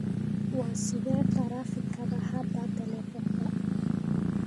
waa sidee taraafikada hadda telifoonka